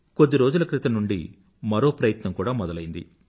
కొద్ది రోజుల క్రితం నుండి మరో ప్రయత్నం కూడా మొదలైంది